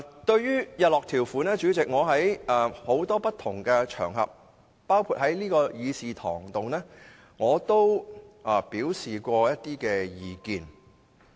對於日落條款，代理主席，在多個不同場合上，包括在這個議事堂上，我也曾表示意見。